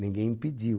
Ninguém impediu.